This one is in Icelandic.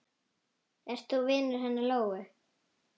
Ert þú vinur hennar Lóu?